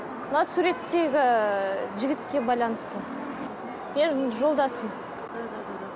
мына суреттегі жігітке байланысты менің жолдасым